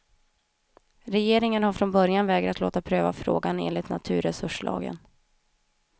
Regeringen har från början vägrat låta pröva frågan enligt naturresurslagen.